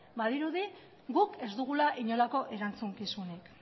badirudi guk ez dugula inolako erantzukizunik